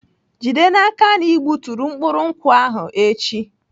Jide n'aka na ị gbuturu mkpụrụ nkwụ ahụ echi!